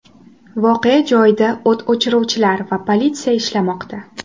Voqea joyida o‘t o‘chiruvchilar va politsiya ishlamoqda.